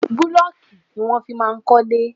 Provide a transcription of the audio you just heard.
Búlọ̀kì ni wọ́n fi kọ́ ilé.